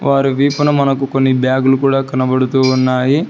వారు వీపున మనకు కొన్ని బ్యాగులు కూడా కనబడుతూ ఉన్నాయి.